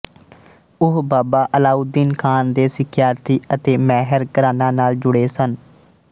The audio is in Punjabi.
ਉਹ ਬਾਬਾ ਅਲਾਉਦੀਨ ਖਾਨ ਦੇ ਸਿੱਖਿਆਰਥੀ ਅਤੇ ਮੈਹਰ ਘਰਾਣਾ ਨਾਲ ਜੁੜੇ ਸਨ